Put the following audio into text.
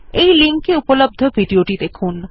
এই লিঙ্ক এ উপলব্ধ ভিডিও টি দেখুন